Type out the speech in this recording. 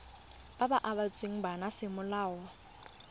ba ba abetsweng bana semolao